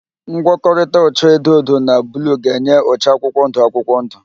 Ngwọkọrịta ụcha edo edo na bluu ga-enye ụcha akwụkwọndụ akwụkwọndụ.